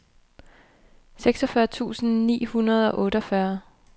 seksogfyrre tusind ni hundrede og otteogfyrre